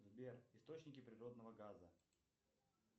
сбер источники природного газа